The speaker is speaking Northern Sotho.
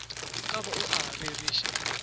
ka ba o a rereša